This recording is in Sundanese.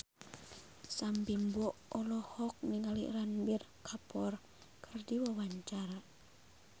Sam Bimbo olohok ningali Ranbir Kapoor keur diwawancara